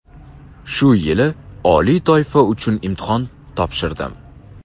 Shu yili oliy toifa uchun imtihon topshirdim.